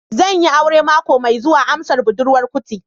Zan yi aure mako mai zuwa, amsar budurwar kuti